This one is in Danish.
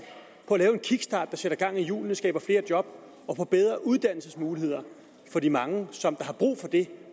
på at lave en kickstart der sætter gang i hjulene og skaber flere job og på bedre uddannelsesmuligheder for de mange som har brug for det